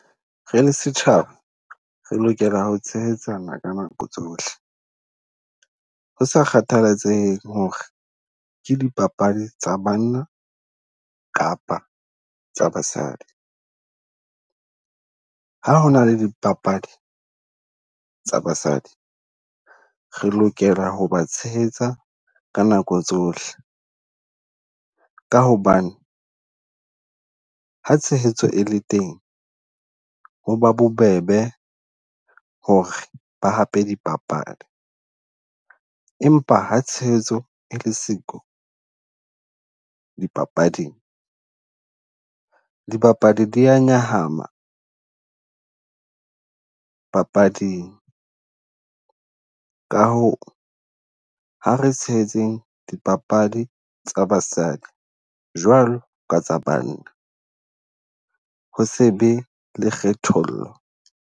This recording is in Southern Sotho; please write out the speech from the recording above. Re le setjhaba re lokela ho tshehetsana ka nako tsohle. Ho sa kgathalatsehe hore ke dipapadi tsa banna kapa tsa basadi. Ha hona le dipapadi tsa basadi re lokela ho ba tshehetsa ka nako tsohle. Ka hobane ha tshehetso e le teng, ho ba bobebe hore ba hape dipapadi. Empa ha tshehetso e le siko dipapading, dibapadi dia nyahama papading. Ka hoo, ha re tshehetseng dipapadi tsa basadi jwalo ka tsa banna ho se be le kgethollo.